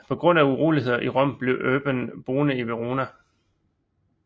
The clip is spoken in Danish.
På grund af uroligheder i Rom blev Urban boende i Verona